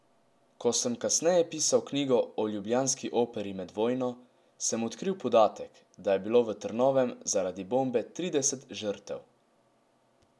Ko sem kasneje pisal knjigo o ljubljanski operi med vojno, sem odkril podatek, da je bilo v Trnovem zaradi bombe trideset žrtev.